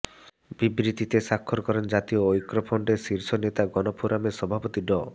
বিবৃতিতে স্বাক্ষর করেন জাতীয় ঐক্যফ্রন্টের শীর্ষ নেতা গণফোরামের সভাপতি ড